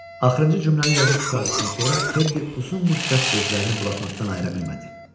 Axırıncı cümləni yazıb qurtardıqdan sonra Teddy uzun müddət gözlərini bloknotdan ayıra bilmədi.